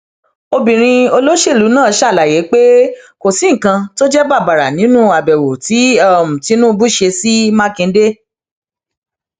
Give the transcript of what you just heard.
obìnrin olóṣèlú náà ṣàlàyé pé kò sí nǹkan tó jẹ bàbàrà nínú àbẹwò tí tìǹbù ṣe sí mákindé